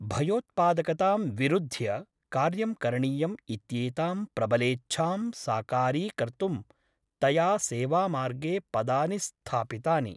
भयोत्पादकतां विरुध्य कार्यं करणीयम् इत्येतां प्रबलेच्छां साकारीकर्तुं तया सेवामार्गे पदानि स्थापितानि ।